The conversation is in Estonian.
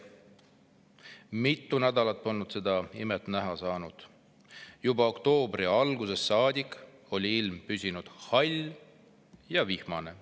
Mitu nädalat polnud seda imet näha saanud, juba oktoobri algusest saadik oli ilm püsinud hall ja vihmane.